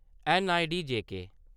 N I D J K